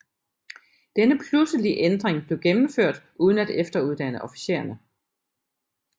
Denne pludselige ændring blev gennemført uden at efteruddanne officererne